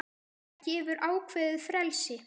Það gefur ákveðið frelsi.